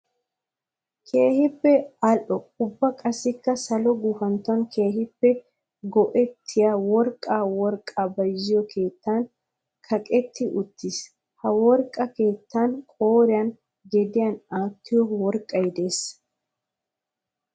Keehippe ali'o ubba qassikka salo gufantton keehippe koyettiya worqqay worqaa bayzziyo keettan kaqqetti uttiis. Ha worqqa keettan qooriyan gediyan aattiyo worqqay de'ees.